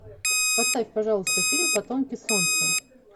поставь пожалуйста фильм потомки солнца